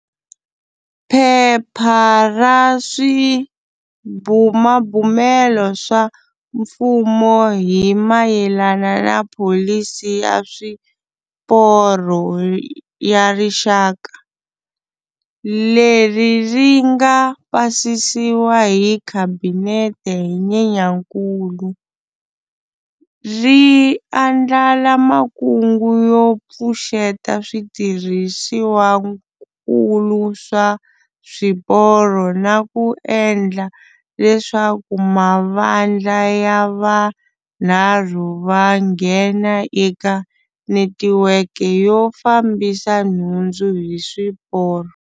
Phepha ra Swibumabumelo swa Mfumo hi mayelana na pholisi ya Swiporo ya Rixaka, leri ri nga pasisiwa hi Khabinete hi Nyenyankulu, ri andlala makungu yo pfuxeta switirhisiwakulu swa swiporo na ku endla leswaku mavandla ya vunharhu va nghena eka netiweke yo fambisa nhundzu hi swiporo.